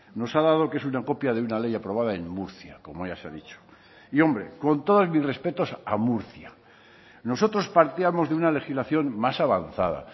nos ha dado que es una copia de una ley aprobada en murcia como ya se ha dicho y hombre con todos mis respetos a murcia nosotros partíamos de una legislación más avanzada